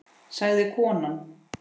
sagði konan.